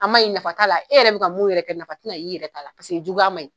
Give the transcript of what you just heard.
An maɲi nafa t'a la e yɛrɛ bi ka mun yɛrɛ kɛ nafa tina ye, i yɛrɛ ta la paseke juguya maɲi.